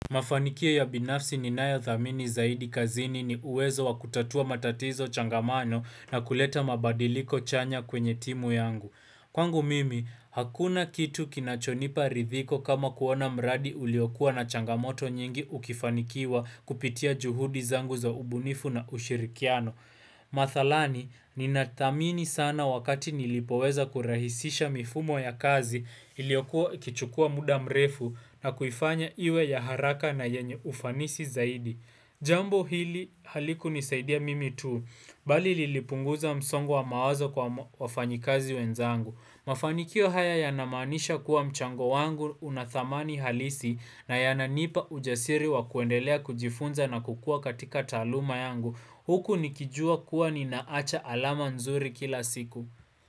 Mafanikio ya binafsi ni nayo dhamini zaidi kazini ni uwezo wa kutatua matatizo changamano na kuleta mabadiliko chanya kwenye timu yangu. Kwangu mimi, hakuna kitu kinachonipa ridhiko kama kuona mradi uliokua na changamoto nyingi ukifanikiwa kupitia juhudi zangu za ubunifu na ushirikiano. Mathalani, ninatamini sana wakati nilipoweza kurahisisha mifumo ya kazi iliokuwa kichukua muda mrefu na kuifanya iwe ya haraka na yenye ufanisi zaidi Jambo hili haliku nisaidia mimi tu, bali lilipunguza msongo wa mawazo kwa wafanyikazi wenzangu Mafanikio haya yanamanisha kuwa mchango wangu unathamani halisi na yananipa ujasiri wa kuendelea kujifunza na kukua katika talauma yangu Huku nikijua kuwa ninaacha alama nzuri kila siku.